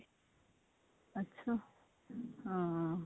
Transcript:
ਅੱਛਾ ਹਾਂ